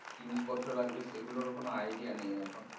জিনিসপত্র লাগবে সেইগুলোর ও কোনও idea নেই এখন।